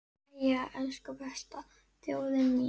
Jæja, elsku besta þjóðin mín!